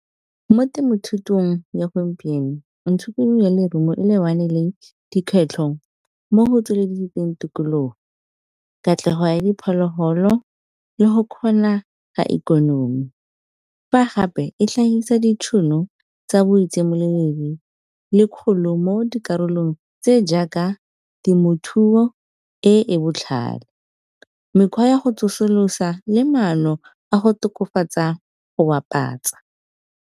Mo temothutong ya gompieno lerumo e lebane le dikgwetlho mo go tsweletseng tikologo. Katlego ya diphologolo le go kgona ga ikonomi. Fa gape e tlhahisa ditšhono tsa le kgolo mo dikarolong tse jaaka temothuo e e botlhale, mekgwa ya go tsosolosa, le maano a go tokafatsa go bapatsa.